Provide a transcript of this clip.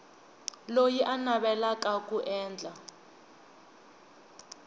loyi a navelaka ku endla